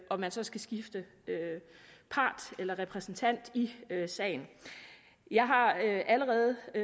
og man så skal skifte part eller repræsentant i sagen jeg har allerede